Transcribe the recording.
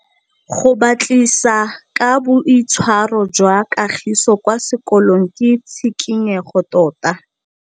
Go batlisisa ka boitshwaro jwa Kagiso kwa sekolong ke tshikinyêgô tota.